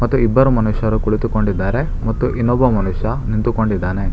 ಮತ್ತು ಇಬ್ಬರು ಮನುಷ್ಯರ ಕುಳಿತುಕೊಂಡಿದ್ದಾರೆ ಮತ್ತು ಇನ್ನೊಬ್ಬ ಮನುಷ್ಯ ನಿಂತುಕೊಂಡಿದ್ದಾನೆ.